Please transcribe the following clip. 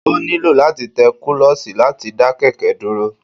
o niló latí té kulosí latí da kẹkẹ duro